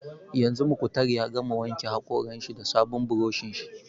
Yanzu Muktar ya gama wanke haƙoran shi da sabon buroshin shi